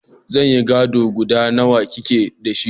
Zanin gado guda nawa kike da shi?